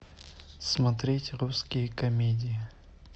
смотреть русские комедии